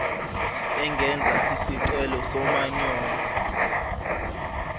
engenza isicelo somanyolo